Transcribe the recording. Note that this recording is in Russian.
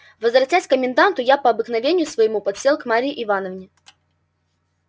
возвратясь к коменданту я по обыкновению своему подсел к марье ивановне